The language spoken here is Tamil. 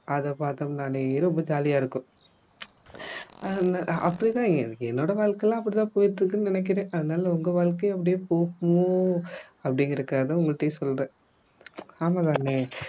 அதை பாத்தம்னாலே ரொம்ப jolly ஆ இருக்கும் ஹம் அப்படித்தான் எனக்கு என்னோட வாழ்க்கைலாம் அப்படி தான் போயிட்டு இருக்குன்னு நினைக்கிறேன் அதனால உங்க வாழ்க்கையும் அப்படியே போகுமோ அப்படிங்கறதுக்காக தான் உங்கள்டையும் சொல்றேன் ஆமாம் தானே